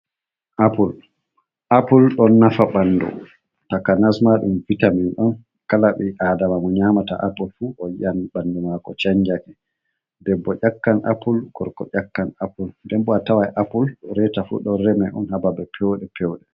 Appul don nafa bandu, takanas ma dum vitamin on, kala bi adama mo nyamata apple fu o yi an bandu mako chanjake, debbo ƴakkan apple gorko ƴakkan apple. Denbo a tawai appul reta fu don reme on ha babe pewde fewde.